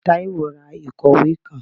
Taiwo rá ikọwe kán